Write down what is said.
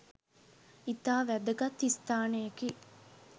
ඉතා වැදගත් ස්ථානයකි.